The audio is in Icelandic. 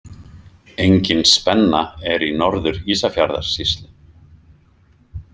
Engin spenna er í Norður- Ísafjarðarsýslu.